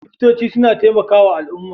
Likitoci suna taimakawa al'umma.